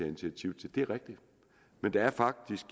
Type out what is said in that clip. initiativ til det er rigtigt men der er faktisk